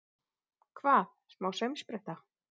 Hvað, smá saumspretta!